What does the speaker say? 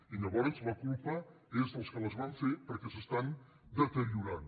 i llavors la culpa és dels que les van fer perquè s’estan deteriorant